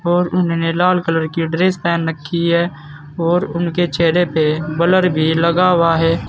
और उन्होंने लाल कलर की ड्रेस पहन रखी है और उनके चेहरे पे ब्लर भी लगा हुआ है।